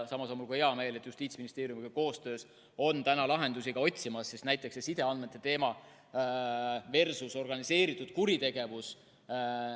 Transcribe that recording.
Samas on mul hea meel, et Justiitsministeeriumiga koostöös lahendusi otsitakse, näiteks see sideandmete teema versus organiseeritud kuritegevus.